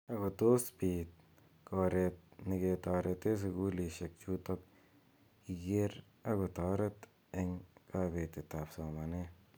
Ako tos pit koret neketaretee sukulishek chutokche kiker ako taret eng kabetet ab somanet.